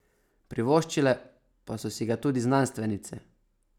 Privoščile pa so si ga tudi znanstvenice.